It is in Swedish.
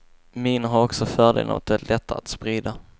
Minor har också fördelen att vara lätta att sprida.